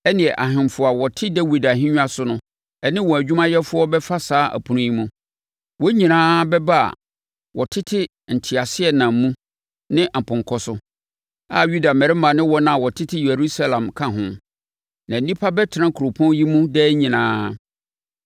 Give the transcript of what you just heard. ɛnneɛ ahemfo a wɔte Dawid ahennwa so ne wɔn adwumayɛfoɔ bɛfa saa apono yi mu. Wɔn nyinaa bɛba a wɔtete nteaseɛnam mu ne apɔnkɔ so, a Yuda mmarima ne wɔn a wɔtete Yerusalem ka ho, na nnipa bɛtena kuropɔn yi mu daa nyinaa.